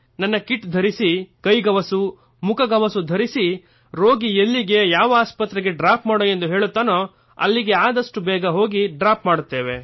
ನನ್ನ ಕಿಟ್ ಧರಿಸಿ ಕೈಗವಸು ಮುಖಗವಸು ಧರಿಸಿ ರೋಗಿ ಎಲ್ಲಿಗೆ ಯಾವ ಆಸ್ಪತ್ರೆಗೆ ಡ್ರಾಪ್ ಮಾಡು ಎಂದು ಹೇಳುತ್ತಾರೋ ಅಲ್ಲಿಗೆ ಆದಷ್ಟೂ ಬೇಗ ಡ್ರಾಪ್ ಮಾಡುತ್ತೇವೆ